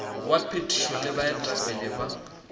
wa phethišo le baetapele ba